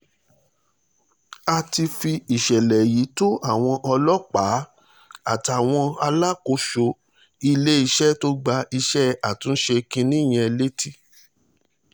a ti fi ìṣẹ̀lẹ̀ yìí tó àwọn ọlọ́pàá àtàwọn alákòóso iléeṣẹ́ tó gba iṣẹ́ àtúnṣe kinní yẹn létí